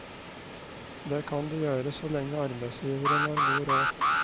Det kan de gjøre så lenge arbeidsgiveren har god råd.